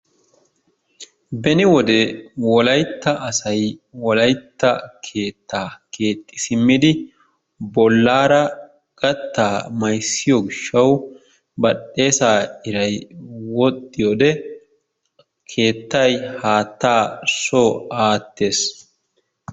Beni wode wolayitta asay wolayitta keettaa keexxi simmidi bollaara gattaa mayzziyo gishshawu badhdheesaa iray wodhdhiyoodee keettay haattaa soo aattees.